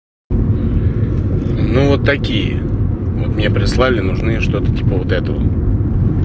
ну вот такие мне прислали нужны что-то типа вот этого